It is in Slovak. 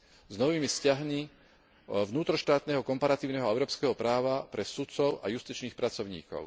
s novými vzťahmi vnútroštátneho, komparatívneho a európskeho práva pre sudcov a justičných pracovníkov.